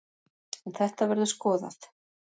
En þetta verður skoðað.